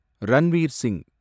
Ranveer Singh